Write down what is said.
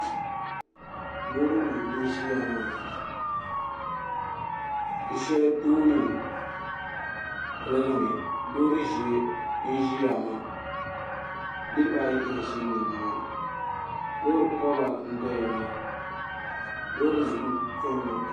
Loori nim n ʒiya maa di shɛli tooni piligimi loori ʒiɛ n ʒiya maa niraba ayi n ʒi nimaani loori koba n doya maa loori nim n chɛni maa